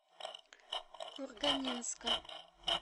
курганинска